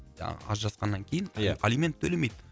жаңағы ажырасқаннан кейін ия алимент төлемейді